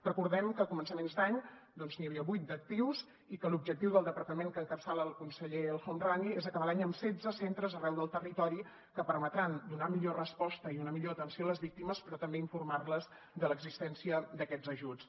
recordem que a començaments d’any n’hi havia vuit d’actius i que l’objectiu del departament que encapçala el conseller el homrani és acabar l’any amb setze centres arreu del territori que permetran donar millor resposta i una millor atenció a les víctimes però també informar les de l’existència d’aquests ajuts